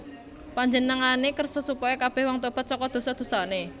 Panjenengané kersa supaya kabèh wong tobat saka dosa dosané